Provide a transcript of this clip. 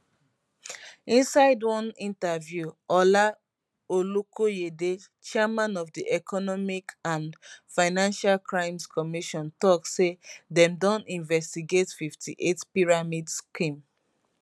inside one interview ola olukoyede chairman of di economic and financial crimes commission tok say dem don investigate 58 pyramid scheme